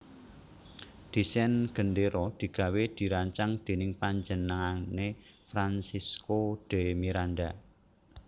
Desain gendéra digawé dirancang dèning panjenengané Francisco de Miranda